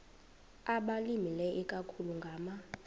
abalimileyo ikakhulu ngama